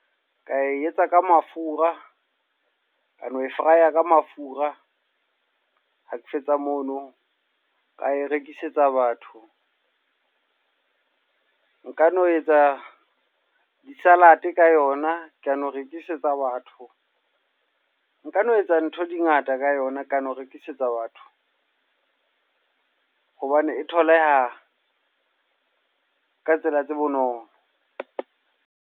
Ka e etsa ka mafura. Ka lo e fraya ka mafura. Ha ke fetsa mono, ka e rekisetsa batho. Nka no etsa di-salad ka yona ka no rekisetsa batho. Nka no etsa ntho di ngata ka yona, ka no rekisetsa batho. Hobane e tholaha ka tsela tse bonolo.